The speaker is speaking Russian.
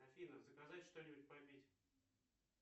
афина заказать что нибудь попить